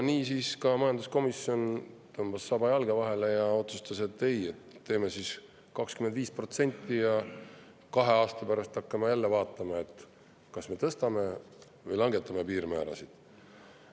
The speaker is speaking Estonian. Niisiis tõmbas ka majanduskomisjon saba jalge vahele ja otsustas, et ei, siis 25% ja kahe aasta pärast hakkame jälle vaatama, kas me tõstame või langetame piirmäärasid.